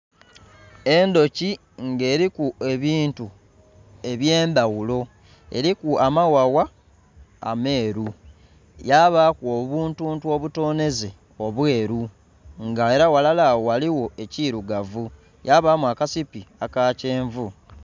Endhoki nga eriku ebintu ebye ndhaghulo eriku amaghagha ameru yabaku obuntuntu obutonheze obweru nga era ghalala agho ghaligho ekirugavu yabamu akasipi akakyenvu.